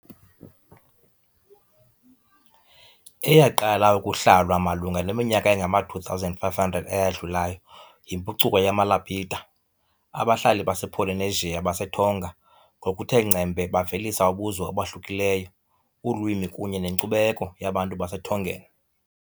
Eyaqala ukuhlalwa malunga neminyaka engama-2,500 eyadlulayo yimpucuko yamaLapita, abahlali basePolynesia baseTonga ngokuthe ngcembe bavelisa ubuzwe obahlukileyo, ulwimi kunye nenkcubeko yabantu baseTongan .